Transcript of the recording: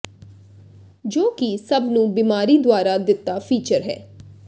ਜੋ ਕਿ ਸਭ ਨੂੰ ਬਿਮਾਰੀ ਦੁਆਰਾ ਦਿੱਤਾ ਫੀਚਰ ਹੈ